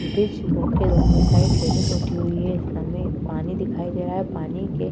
Bridge को के दोनों साइड रेलिंग उठी हुई है। हमे पानी दिखाई दे रहा है। पानी के --